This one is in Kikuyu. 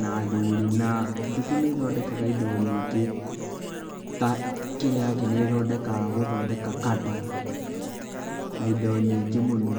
na athuri na njũkĩ nĩthondekaga indo nyingĩ ta kandor na indo nyingĩ mũno.